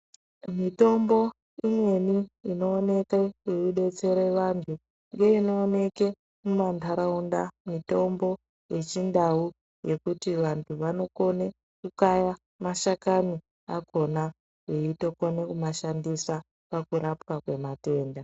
Mitombo imweni inooneke yeidetsere vanthu inooneke mumantharaunda mitombo yechindau yekuti vanthu vanokona kukaya mashakani akona veitokona kumashandisa pakurapwa kwematenda.